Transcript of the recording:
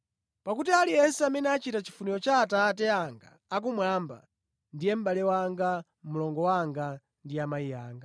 Pakuti aliyense amene achita chifuniro cha Atate anga akumwamba ndiye mʼbale wanga, mlongo wanga ndi amayi anga.”